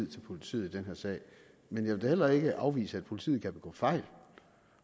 til politiet i den her sag men jeg vil da heller ikke afvise at politiet kan begå fejl